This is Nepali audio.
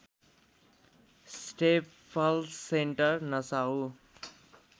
staples Center Nassau